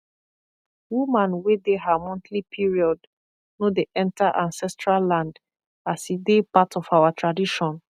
woman wey dey her monthly period no dey enter ancestral land as e dey part part of our tradition